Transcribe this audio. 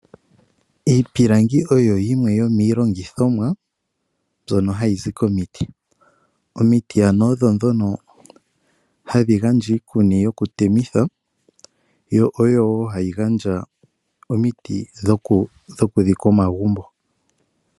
Iipilangi oyo yimwe yomilongithomwa mbyono hayizi komiti , omiti ano odho dhono hadhingandja iikuni yokutemitha yo oyo wo hayingandja omiti dhokudhika omagumbo.